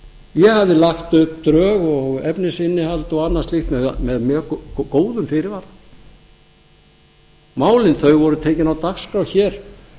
ég hafði lagt upp drög og efnisinnihald og annað slíkt með góðum fyrirvara málin voru tekin á dagskrá hér